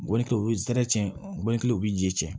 Gɔbɔni kɛ o ye zɛrɛn ci gɔni kelen o bi ji jɛ cɛn